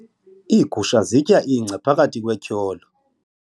Iigusha zitya ingca phakathi kwetyholo.